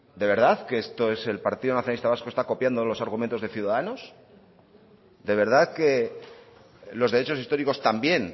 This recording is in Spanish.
de verdad que esto es el partido nacionalista vasco está copiando los argumentos de ciudadanos de verdad que los derechos históricos también